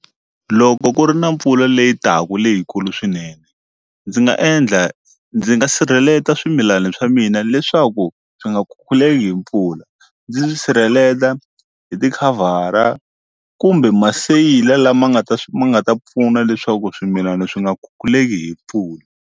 Loko ku ri na mpfula leyi taka leyikulu swinene ndzi nga endla ndzi nga sirheleta swimilana swa mina leswaku swi nga khululeki hi mpfula ndzi sirheleta hi ti khavhara kumbe maseyila lama nga ta ma nga ta pfuna leswaku swimilana swi nga khukhuleki hi mpfula.